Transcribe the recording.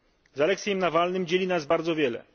Z Aleksiejem Nawalnym dzieli nas bardzo wiele.